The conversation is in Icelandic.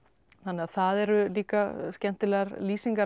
það eru líka skemmtilegar lýsingar af